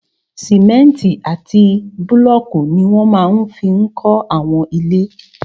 Sìmẹ́ntì àti búlọ̀kù ní wọ́n máa fi n kọ́ àwọn ilé